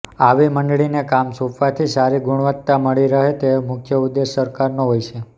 આવી મંડળીને કામ સોંપવાથી સારી ગુણવત્તા મળી રહે તે મૂખ્ય ઉદેશ સરકારનો હોય છે